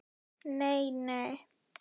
Nei, nei